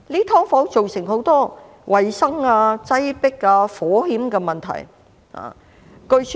"劏房"造成很多衞生、擠迫和火險的問題。